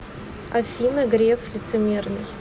афина греф лицемерный